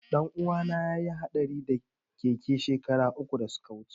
Ɗanuwana ya yi haɗari da keke shekara uku da suka wuce.